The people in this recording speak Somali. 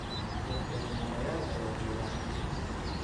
Dad beenalayal aya joogan halkan.